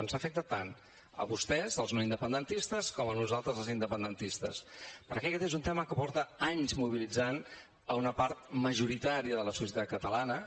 ens afecta tant a vostès els no independentistes com a nosaltres els independentistes perquè aquest és un tema que porta anys mobilitzant una part majoritària de la societat catalana